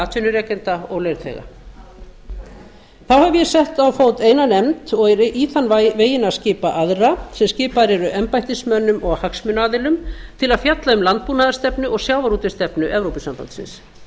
atvinnurekenda og launþega þá hef ég sett á fót eina nefnd og er í þann veginn að skipa aðra sem skipaðar eru embættismönnum og hagsmunaaðilum til að fjalla um landbúnaðarstefnu og sjávarútvegsstefnu evrópusambandsins